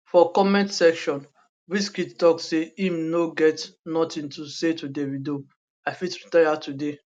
for comment section wqizkid tok say im no get notin to say to davido i fit retire today